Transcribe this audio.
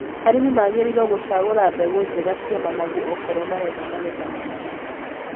Arĩmi magĩrĩirwo gũcagũra mbegũ njega cia managu okorwo marenda magetha maingĩ.